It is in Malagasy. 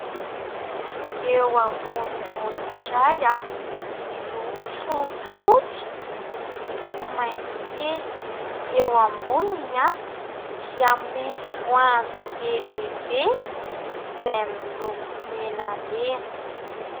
Eo ambony gony iray miloko fotsifotsy misy maitso kely. Eo amboniny dia misy voanjo be dia be izay miloko menamena.